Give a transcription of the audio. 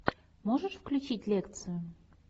можешь включить лекцию